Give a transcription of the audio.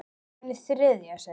Hún stóð á fætur.